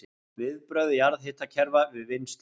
Viðbrögð jarðhitakerfa við vinnslu